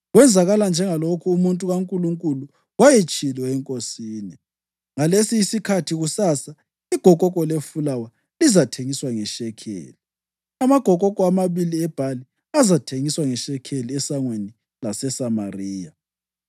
Kwenzakala njengalokhu umuntu kaNkulunkulu wayetshilo enkosini: “Ngalesi isikhathi kusasa, igokoko lefulawa lizathengiswa ngeshekeli, amagokoko amabili ebhali azathengiswa ngeshekeli esangweni laseSamariya.”